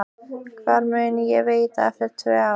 Hvar mun ég vera eftir tvö ár?